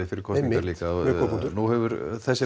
fyrir konsingarnar líka nú hefur þessi